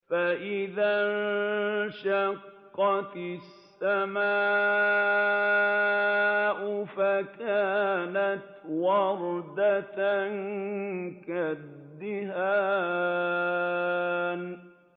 فَإِذَا انشَقَّتِ السَّمَاءُ فَكَانَتْ وَرْدَةً كَالدِّهَانِ